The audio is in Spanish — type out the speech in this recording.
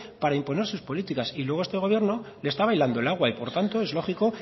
para imponer sus políticas y luego este gobierno le está bailando el agua y por tanto es lógico